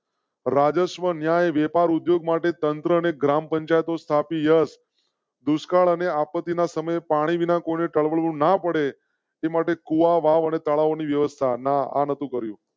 રાજસ્વ. અન્યાય વેપાર ઉદ્યોગ માટે તંત્રને ગ્રામ પંચાયતો સ્થાપી યસ દુષ્કાળ અને આપત્તિ ના સમય પાણી વિના કોને ના પડે તે માટે કુવો વાવ અને તળાવ ની વ્યવસ્થા ના આ નાતુ કર્યું